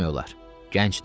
Gəncdir.